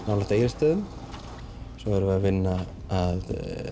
nálægt Egilsstöðum svo erum við að vinna að